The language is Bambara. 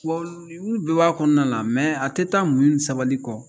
Wa olu bɛɛ b'a kɔnɔna na a tɛ taa muɲu ni sabali kɔ